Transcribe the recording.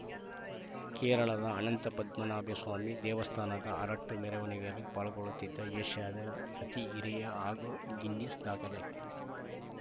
ಕೇರಳದ ಅನಂತ ಪದ್ಮನಾಭ ಸ್ವಾಮಿ ದೇವಸ್ಥಾನದ ಅರಟ್ಟು ಮೆರವಣಿಗೆಯಲ್ಲಿ ಪಾಲ್ಗೊಳ್ಳುತ್ತಿದ್ದ ಏಷ್ಯಾದ ಅತಿ ಹಿರಿಯ ಹಾಗೂ ಗಿನ್ನೆಸ್‌ ದಾಖಲೆ